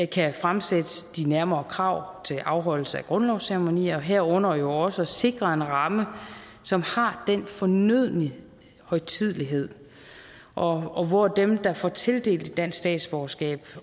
kan fremsætte de nærmere krav til afholdelse af grundlovsceremonier herunder jo også at sikre en ramme som har den fornødne højtidelighed og hvor dem der får tildelt et dansk statsborgerskab